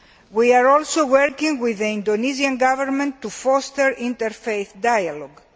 We are also working with the Indonesian Government to foster inter faith dialogue.